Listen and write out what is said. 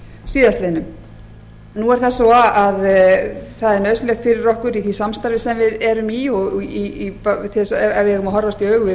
síðastliðnum nú er það svo að það er nauðsynlegt fyrir okkur í því samstarfi sem við erum í og ef við eigum að horfast í augu við